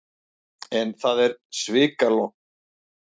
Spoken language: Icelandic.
En það er svikalogn.